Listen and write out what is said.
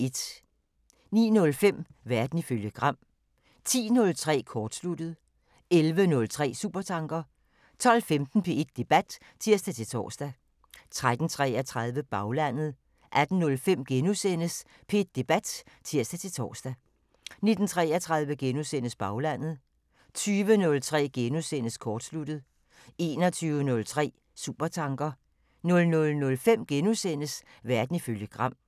09:05: Verden ifølge Gram 10:03: Kortsluttet 11:03: Supertanker 12:15: P1 Debat (tir-tor) 13:33: Baglandet 18:05: P1 Debat *(tir-tor) 19:33: Baglandet * 20:03: Kortsluttet * 21:03: Supertanker 00:05: Verden ifølge Gram *